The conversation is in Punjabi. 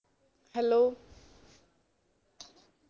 hello